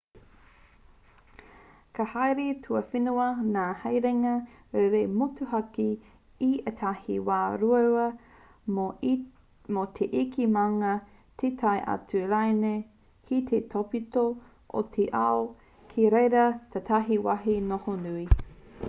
ka haere tuawhenua ngā haerenga rere motuhake i ētahi wā ruarua mō te eke maunga te tae atu rānei ki te tōpito o te ao kei reira tētahi wāhi noho nui